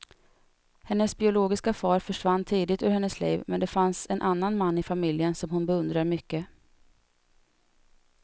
Hennes biologiska far försvann tidigt ur hennes liv, men det finns en annan man i familjen som hon beundrar mycket.